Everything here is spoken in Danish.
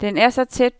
Den er så tæt,